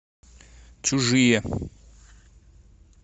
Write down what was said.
чужие